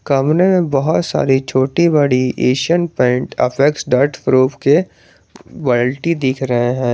सामने बहुत सारी छोटी बड़ी Asian Paint Apex dot proof के बाल्टी दिख रहे हैं।